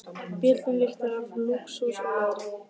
Bíllinn lyktar af lúxus og leðri.